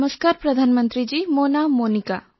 ନମସ୍କାର ପ୍ରଧାନମନ୍ତ୍ରୀଜୀ ମୋ ନାଁ ମୋନିକା